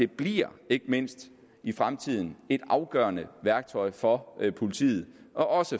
bliver ikke mindst i fremtiden et afgørende værktøj for politiet og